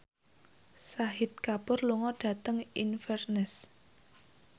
Shahid Kapoor lunga dhateng Inverness